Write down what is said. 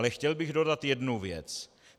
Ale chtěl bych dodat jednu věc.